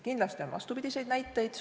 Kindlasti on ka vastupidiseid näiteid.